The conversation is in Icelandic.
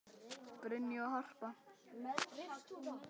Brynja og Harpa.